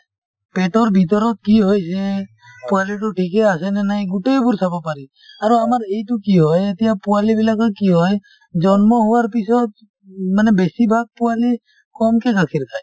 পেটৰ ভিতৰত কি হৈছে , পোৱালিটো ঠিকে আছেনে নাই, গোটেইবোৰ চাব পাৰি। আৰু আমাৰ এইটো কি হয় এতিয়া পোৱালি বিলাকৰ কি হয় , জন্ম হোৱাৰ পিছত মানে বেছিভাগ পোৱালি কমকে গাখীৰ খায় ।